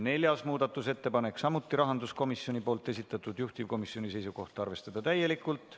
Neljas muudatusettepanek, samuti rahanduskomisjoni esitatud, juhtivkomisjoni seisukoht on arvestada täielikult.